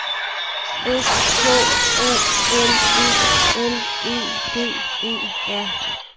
S K O L E L E D E R